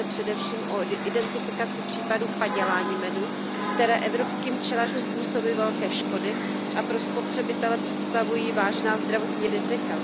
Jedná se především o identifikaci případů padělání medu, které evropským včelařům působí velké škody a pro spotřebitele představují vážná zdravotní rizika.